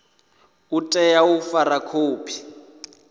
u tea u fara khophi